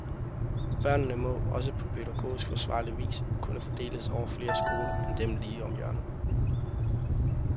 Børnene må, også på pædagogisk forsvarlig vis, kunne fordeles over flere skoler end dem lige om hjørnet.